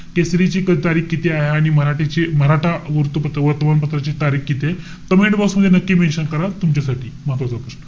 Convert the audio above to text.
केसरीची तारीख किती आहे आणि मराठ्याची~ मराठा वृत्तपत्र~ वर्तमान पत्राची तारीख कितीय? Commentbox मध्ये नक्की mention करा. तुमच्यासाठी महत्वाचा प्रश्न.